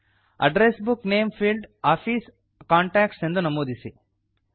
address book name field office contacts ಎಂದು ನಮೂದಿಸಿ